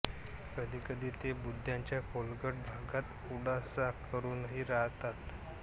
कधीकधी ते बुंध्याच्या खोलगट भागात आडोसा करूनही राहतात